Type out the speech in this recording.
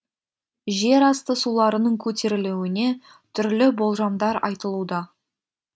жерасты суларының көтерілуіне түрлі болжамдар айтылуда